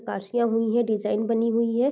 काशियां हुई है डिज़ाइन बनी हुई है।